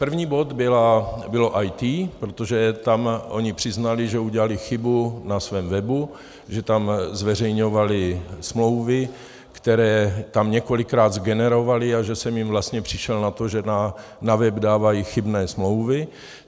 První bod bylo IT, protože tam oni přiznali, že udělali chybu na svém webu, že tam zveřejňovali smlouvy, které tam několikrát zgenerovali, a že jsem jim vlastně přišel na to, že na web dávají chybné smlouvy.